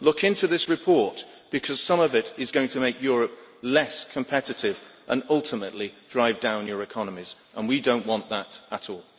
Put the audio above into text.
Look into this report, because some of it is going to make Europe less competitive and ultimately drive down your economies, and we don't want that at all.